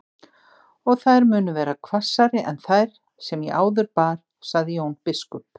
Og þær munu verða hvassari en þær sem ég áður bar, sagði Jón biskup.